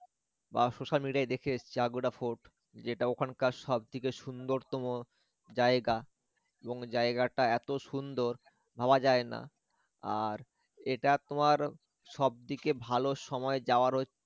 বা social media য় দেখে এসছি Aguada fort যেটা ওখানকার সবথেকে সুন্দরতম জায়গা এবং জায়গা টা এত সুন্দর ভাবা যায় না আর এটা তোমার সব থেকে ভাল সময় যাওয়ার হচ্ছে